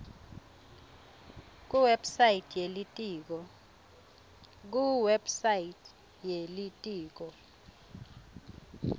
kuwebsite ye litiko